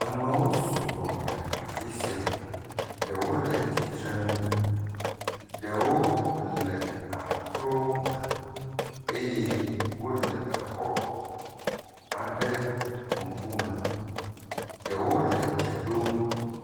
Amewo sɔgbɔ le afi sia. Ɖewo le tsitrenu, ɖewo le akrome eye wo le exɔ aɖe ŋku me. Ɖewol e dze ɖom.